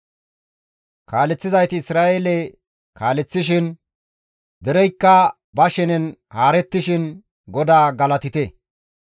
«Kaaleththizayti Isra7eele kaaleththishin, dereykka ba shenen haarettishin GODAA galatite!